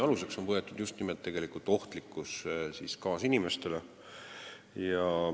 Aluseks on võetud just nimelt ohtlikkus kaasinimestele.